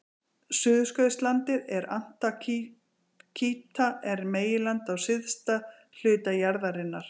Suðurskautslandið eða Antarktíka er meginland á syðsta hluta jarðarinnar.